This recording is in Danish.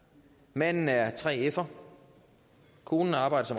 manden er 3fer konen har arbejdet